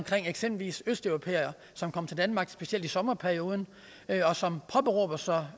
for eksempelvis østeuropæere som kommer til danmark specielt i sommerperioden og som påberåber sig